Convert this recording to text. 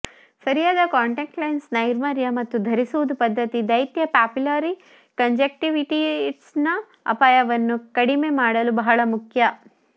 ಸರಿಯಾದ contact lens ನೈರ್ಮಲ್ಯ ಮತ್ತು ಧರಿಸುವುದು ಪದ್ಧತಿ ದೈತ್ಯ ಪಾಪಿಲ್ಲರಿ ಕಾಂಜಂಕ್ಟಿವಿಟಿಸ್ನ ಅಪಾಯವನ್ನು ಕಡಿಮೆ ಮಾಡಲು ಬಹಳ ಮುಖ್ಯ